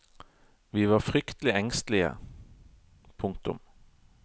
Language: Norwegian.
Vi var fryktelig engstelige. punktum